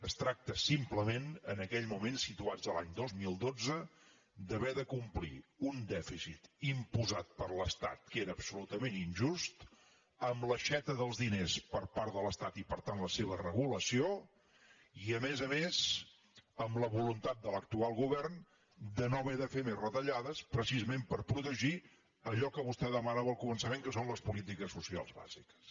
es tracta simplement en aquell moment situats en l’any dos mil dotze d’haver de complir un dèficit imposat per l’estat que era absolutament injust amb l’aixeta dels diners per part de l’estat i per tant la seva regulació i a més a més amb la voluntat de l’actual govern de no haver de fer més retallades precisament per protegir allò que vostè demanava al començament que són les polítiques socials bàsiques